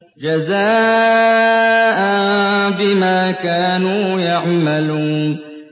جَزَاءً بِمَا كَانُوا يَعْمَلُونَ